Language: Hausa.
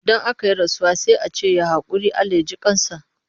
Idan aka yi rasuwa sai a ce ya haƙuri? Allah ya ji ƙan sa.